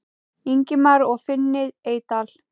Ingimar og Finni Eydal.